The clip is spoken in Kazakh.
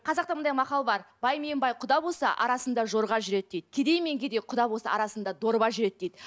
қазақта мынандай мақал бар бай мен бай құда болса арасында жорға жүреді дейді кедей мен кедей құда болса арасында дорба жүреді дейді